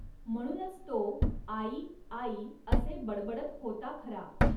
म्हणूनच तो 'आई, 'आई असे बडबडत होता खरा.